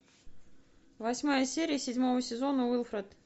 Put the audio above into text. восьмая серия седьмого сезона уилфред